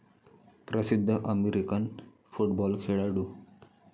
प्रसिद्ध American football खेळाडू